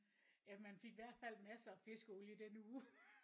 Ja man fik i hvert fald masser af fiskeolie i den uge